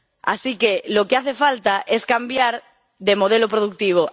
Así que lo que hace falta es cambiar de modelo productivo